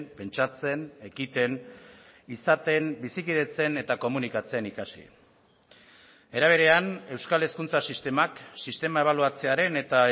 pentsatzen ekiten izaten bizikidetzen eta komunikatzen ikasi era berean euskal hezkuntza sistemak sistema ebaluatzearen eta